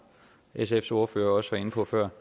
sfs ordfører også var inde på før